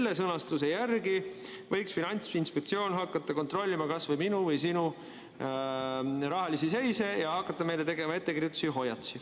Praeguse sõnastuse järgi võiks Finantsinspektsioon hakata kontrollima kasvõi minu või sinu rahalist seisu ning hakata meile tegema ettekirjutusi ja hoiatusi.